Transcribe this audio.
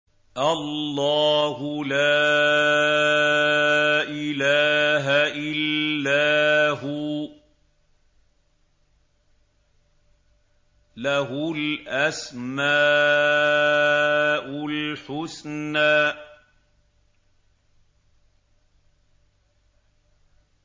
اللَّهُ لَا إِلَٰهَ إِلَّا هُوَ ۖ لَهُ الْأَسْمَاءُ الْحُسْنَىٰ